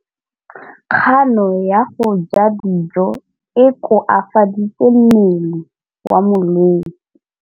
Kganô ya go ja dijo e koafaditse mmele wa molwetse.